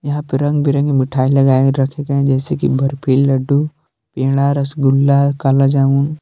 यहां पे रंग बिरंगी मिठाई लगाए रखी गई हैं जैसी कि बर्फी लड्डू पेड़ा रसगुल्ला काला जामुन।